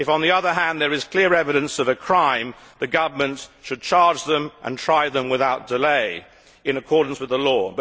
If, on the other hand, there is clear evidence of a crime, the government should charge them and try them without delay in accordance with the law.